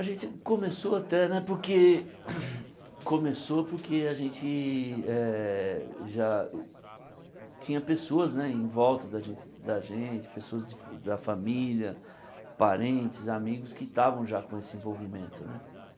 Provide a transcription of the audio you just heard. A gente começou até né porque começou porque a gente eh já tinha pessoas né em volta da gen da gente, pessoas de da família, parentes, amigos que estavam já com esse envolvimento né.